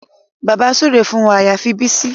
Bàbá súre fún wa àyàfi Bísí